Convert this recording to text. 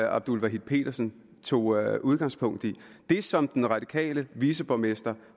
abdul wahid petersen tog udgangspunkt i det som den radikale viceborgmester